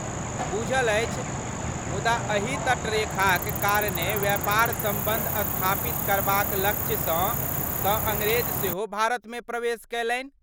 बुझल अछि, मुदा अही तटरेखाक कारणे व्यापर सम्बन्ध स्थापित करबाक लक्ष्यसँ तँ अङ्ग्रेज सेहो भारतमे प्रवेश कयलनि।